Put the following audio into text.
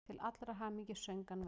Til allrar hamingju söng hann vel!